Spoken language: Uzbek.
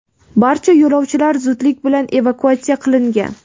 Barcha yo‘lovchilar zudlik bilan evakuatsiya qilingan.